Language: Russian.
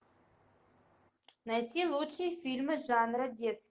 найти лучшие фильмы жанра детский